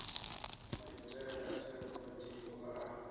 maitele a sa konḓiho a